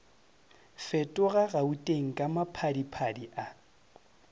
fetoga gauteng ka maphadiphadi a